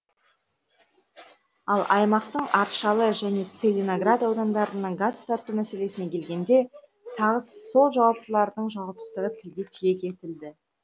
ал аймақтың аршалы және целиноград аудандарына газ тарту мәселесіне келгенде тағы сол жауаптылардың жауапсыздығы тілге тиек етілді